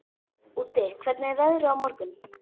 Úddi, hvernig er veðrið á morgun?